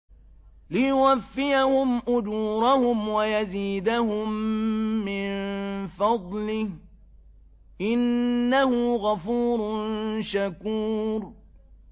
لِيُوَفِّيَهُمْ أُجُورَهُمْ وَيَزِيدَهُم مِّن فَضْلِهِ ۚ إِنَّهُ غَفُورٌ شَكُورٌ